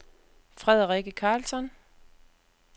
Frederikke Carlsson